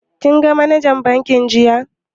Kin ga manajar bankin jiya?